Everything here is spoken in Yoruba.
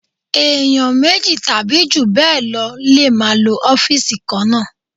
Èèyàn méjì tàbí jù bẹ́ẹ̀ lọ lè máa lo ọ́fìsì kan náà